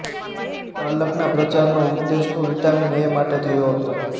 પાલકના પ્રચારનો ઉદ્દેશ તો વિટામિન એ માટે થયો હતો